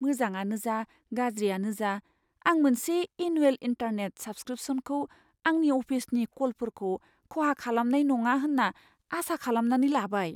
मोजाङानो जा गाज्रियानो जा, आं मोनसे एनुवेल इन्टारनेट साब्सक्रिपशनखौ आंनि अफिसनि कलफोरखौ खहा खालामनाय नङा होन्ना आसा खालामनानै लाबाय।